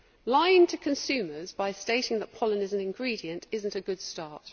Lying to consumers by stating that pollen is an ingredient is not a good start.